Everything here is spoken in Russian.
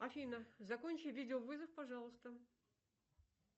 афина закончи видеовызов пожалуйста